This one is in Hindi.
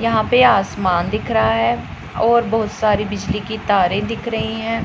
यहां पे आसमान दिख रहा है और बहोत सारी बिजली की तारे दिख रही है